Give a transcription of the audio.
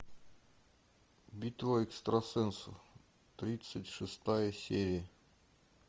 битва экстрасенсов тридцать шестая серия